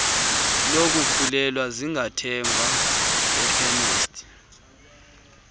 lokukhulelwa zingathengwa ekhemesti